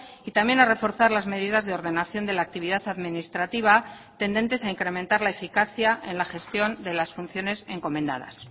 y también a reforzar las medidas de ordenación de la actividad administrativa tendentes a incrementar la eficacia en la gestión de las funciones encomendadas